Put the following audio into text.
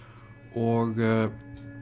og